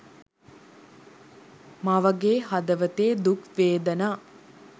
මවගේ හදවතේ දුක් වේදනා